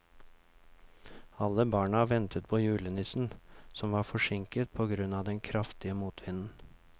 Alle barna ventet på julenissen, som var forsinket på grunn av den kraftige motvinden.